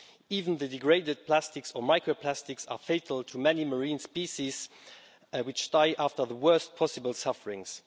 Even the degraded plastics, or microplastics, are fatal to many marine species, which die after the worst possible sufferings.